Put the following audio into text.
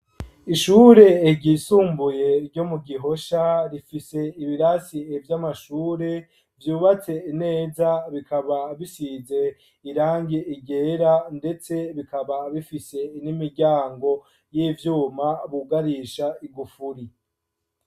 Ishure ryisumbuye ryo mu Gihosha rifise ibirasi vy'amashure vyubatse neza bikaba bisize irangi ryera ndetse bikaba bifise n'imiryango y'ivyuma bugarisha igufuri.